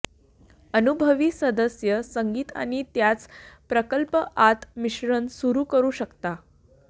अनुभवी सदस्य संगीत आणि त्याच प्रकल्प आत मिश्रण सुरू करू शकता